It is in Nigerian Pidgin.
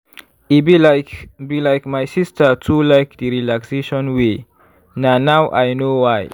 e be like be like my sister too like d relaxation way na now i know why.